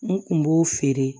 N kun b'o feere